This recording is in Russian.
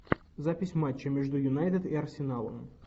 запись матча между юнайтед и арсеналом